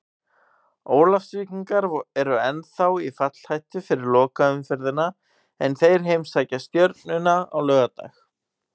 Ólafsvíkingar eru ennþá í fallhættu fyrir lokaumferðina en þeir heimsækja Stjörnuna á laugardag.